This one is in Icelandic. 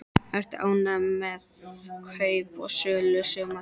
Ertu ánægður með kaup og sölur sumarsins?